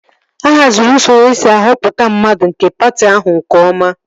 A haziri usoro esi ahọpụta mmadụ nke patị ahụ nke ọma